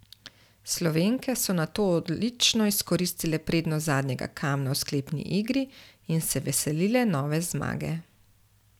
Slovenke so nato odlično izkoristile prednost zadnjega kamna v sklepni igri in se veselile nove zmage.